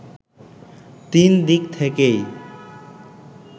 তিন দিক থেকেই